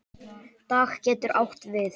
Dag getur átt við